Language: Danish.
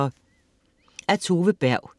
Af Tove Berg